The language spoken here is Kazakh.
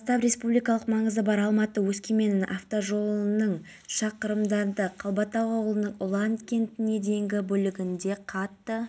мен де мұндай фестиваль танымал болады деп ойлаймын өте тамаша шара мен осындай музыканы жақсы көремін